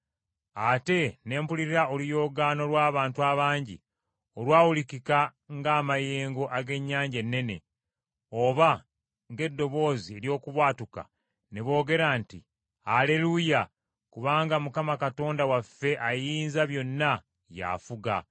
Ate ne mpulira oluyoogaano lw’abantu abangi olwawulikika ng’amayengo ag’ennyanja ennene, oba ng’eddoboozi ery’okubwatuka, ne boogera nti, “Aleruuya, kubanga Mukama Katonda waffe Ayinzabyonna y’afuga.